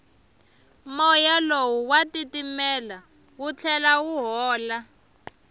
moya lowu wa titimela wu tlhela wu hola